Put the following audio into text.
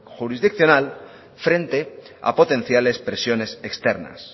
jurisdiccional frente a potenciales presiones externas